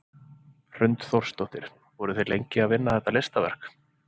Hrund Þórsdóttir: Voruð þið lengi að vinna þetta listaverk?